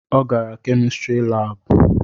Ọ gara kemistri labu